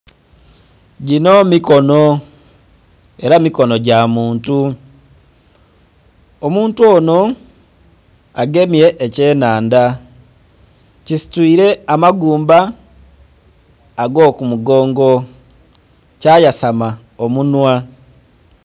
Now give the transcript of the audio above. ginho mikono, ela mikono gya muntu, omuntu onho agemye ekyenhandha, kisituile amagumba ag'okumugongo kyayasama omunwa.